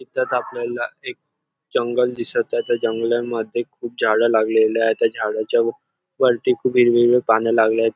इथच आपल्याला एक जंगल दिसत आहे त्या जंगलामध्ये खुप झाड लागलेली आहे त्या झाडाच्या वरती खुप हिरवी हिरवी पान लागले आहेत.